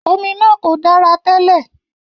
Omi náà kò dára tẹ́lẹ̀.